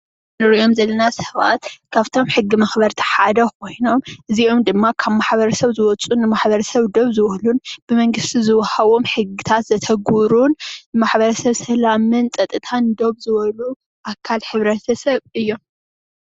እንሪኦም ዘለና ሰባት ካፍቶም ሕጊ መኽበርቲ ሓደ ኾይኖም እዚኦም ድማ ካብ ማሕበረሰብ ዝወፁን ንማሕበረሰብ ደው ዝበሉን ብመንግስቲ ዝወሃቦም ሕግትት ዘተግብሩን ንማሕበረሰብ ሰላምን ፀጥታን ደው ዝበሉ ኣካል ማሕበረሰብ እዮም።